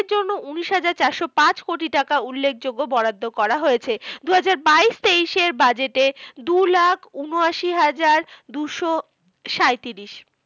এর জন্য উনিশ হাজার চারশো পাঁচ কোটি টাকা উল্লেখযোগ্য বরাদ্দ করা হয়েছে। দুজাহার বাইশ তেইশের budget এ দু লাখ ঊনআশি হাজার দুশো সাঁইত্রিশ।